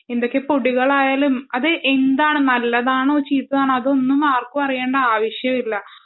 എന്തൊക്കെ പൊടികളായാലും അത് നല്ലതാണോ ചീത്തയാണോ എന്നൊന്നും ആർക്കും അറിയേണ്ട ആവശ്യമില്ല